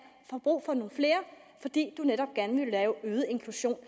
få brug for nogle flere fordi de netop gerne vil have øget inklusion